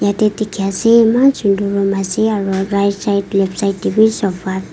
yate dikhi ase eman sundar room ase aro right side left side teh bhi sofa --